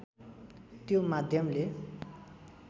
त्यो माध्यमले